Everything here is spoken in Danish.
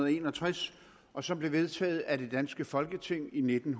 en og tres og som blev vedtaget af det danske folketing i nitten